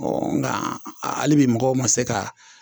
nka hali bi mɔgɔw ma se ka